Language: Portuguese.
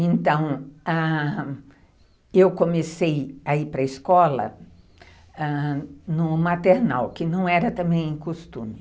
Então, ãh, eu comecei a ir para a escola, ãh, no maternal, que não era também costume.